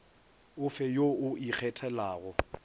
o fe yo o ikgethelago